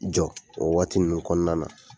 I jɔ o wagati ninnu kɔnɔna na.